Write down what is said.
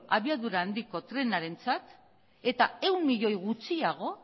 abiduara handiko trenarentzat eta